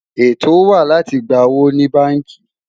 ètò wà láti gbà owó ní bánkì